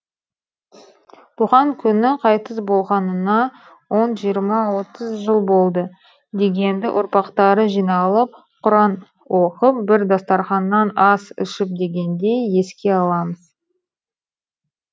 туған күні қайтыс болғанына он жиырма отыз жыл болды дегенді ұрпақтары жиналып құран оқып бір дастарқаннан ас ішіп дегендей еске аламыз